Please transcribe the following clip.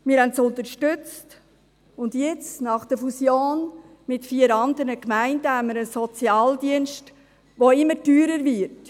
Wir haben sie unterstützt, und jetzt – nach der Fusion mit vier anderen Gemeinden – haben wir einen Sozialdienst, der immer teurer wird.